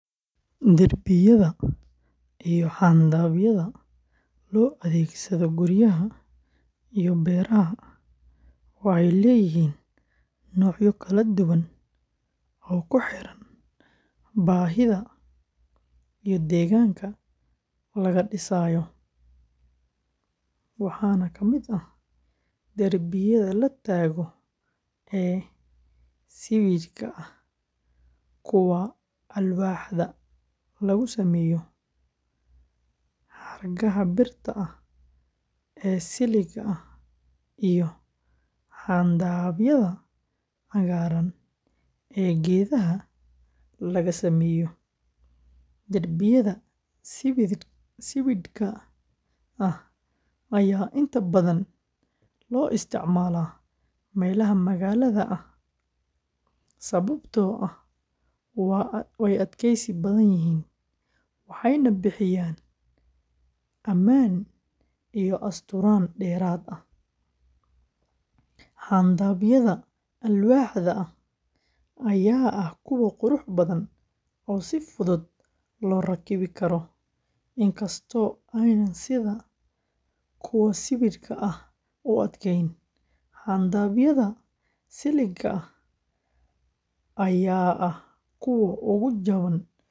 Derbiyada iyo xayndaabyada loo adeegsado guryaha iyo beeraha waxay leeyihiin noocyo kala duwan oo ku xiran baahida iyo deegaanka laga dhisayo, waxaana ka mid ah derbiyada la taago ee sibidhka ah, kuwa alwaaxda laga sameeyo, xargaha birta ah ee siligga ah, iyo xayndaabyada cagaaran ee geedaha laga sameeyo. Derbiyada sibidhka ah ayaa inta badan loo isticmaalaa meelaha magaalada ah sababtoo ah waa adkaysi badan, waxayna bixiyaan ammaan iyo asturnaan dheeraad ah. Xayndaabyada alwaaxda ah ayaa ah kuwo qurux badan oo si fudud loo rakibi karo, inkastoo aanay sida kuwa sibidhka ah u adkayn. Xayndaabyada siligga ah ayaa ah kuwa ugu jaban uguna fudud ee beeraha loo adeegsado.